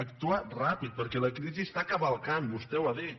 actuar ràpid perquè la crisi està cavalcant vostè ho ha dit